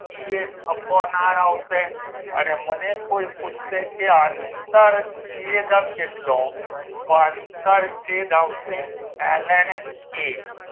e A upon R આવશે અને મને કોઈ પૂછશે કે આંતર છેદ કેટલો તો આંતર છેદ આવશે એલ એન કે